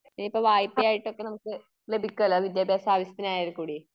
ഇപ്പൊ വായ്പ്പയായിട്ട് ഒക്കെ നമുക്ക് ലഭിക്കൂലോ, വിദ്യാഭ്യാസ ആവിശ്യത്തിനായാൽക്കൂടി.